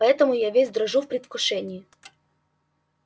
поэтому я весь дрожу в предвкушении